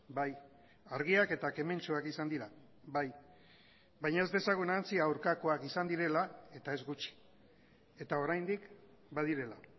bai argiak eta kementsuak izan dira bai baina ez dezagun ahantzi aurkakoak izan direla eta ez gutxi eta oraindik badirela